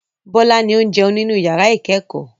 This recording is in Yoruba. Bọ́lá ni ó ń jẹun nínú ìyàrá-ìkẹ́kọ̀ọ́.